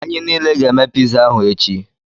Anyị niile ga-eme piza ahụ echi.